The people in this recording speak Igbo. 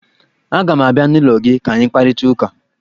Aga m abịa n'ụlọ gị ka anyị kparịta ụka